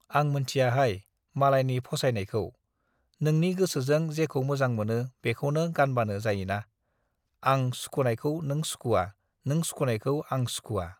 आं मोनथियाहाय मालायनि फसायनायखौ, नोंनि गोसोजों जेखौ मोजां मोनो बेखौनो गानबानो जायोना, आं सुखुनायखौ नों सुखुवा, नों सुखुनायखौ आं आं सुखुवा ।